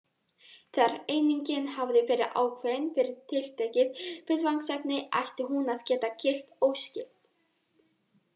Þegar einingin hafði verið ákveðin fyrir tiltekið viðfangsefni ætti hún að geta gilt óskipt.